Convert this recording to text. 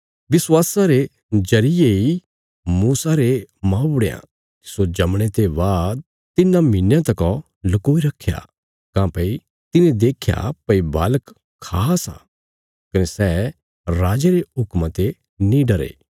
विश्वासा रे जरिये इ मूसा रे मौबुढ़यां तिस्सो जमणे ते बाद तिन्नां महीनयां तकौ लुकोई रखया काँह्भई तिने देख्या भई बालक खास आ कने सै राजे रे हुक्मा ते नीं डरे